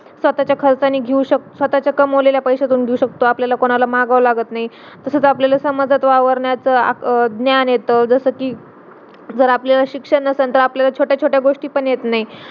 स्वतःच्या खर्चानी घेऊ शकतो स्वतःच्या कमावलेल्या पैस्यातून घेऊ शकतो आपल्याला कोणाला मागव लागत नाही तसाच आपल्याला समाजात वावरण्याचा ज्ञान येत जसा कि जर आपल्याला शिक्षण नसेल अतर आपल्याला छोट्या छोट्या गोष्टी पण येत नाही.